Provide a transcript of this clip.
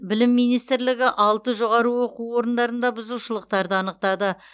білім министрлігі алты жоғары оқу орындарында бұзушылықтар анықтады